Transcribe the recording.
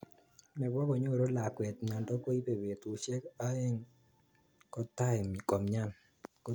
Nebo konyoru lakwet myondo koibe betusiek aeng kotai komyan